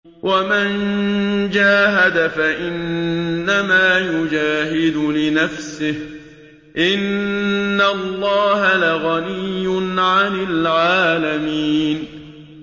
وَمَن جَاهَدَ فَإِنَّمَا يُجَاهِدُ لِنَفْسِهِ ۚ إِنَّ اللَّهَ لَغَنِيٌّ عَنِ الْعَالَمِينَ